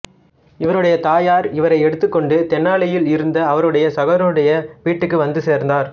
இவருடைய தாயார் இவரை எடுத்துக் கொண்டு தெனாலியில் இருந்த அவருடைய சகோதரனுடைய வீட்டுக்கு வந்து சேர்ந்தார்